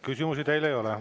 Küsimusi teile ei ole.